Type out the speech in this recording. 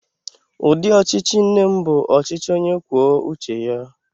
Ụdị ọchịchị nne m bụ ọchịchị onye kwuo uche ya.